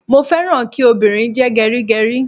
Mo féràn kí obìnrin jẹ́ gẹrígẹrí.